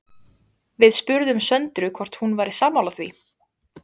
Við spurðum Söndru hvort hún væri sammála því?